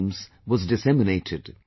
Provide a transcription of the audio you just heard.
schemes was disseminated